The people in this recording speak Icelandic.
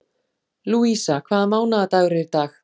Lúísa, hvaða mánaðardagur er í dag?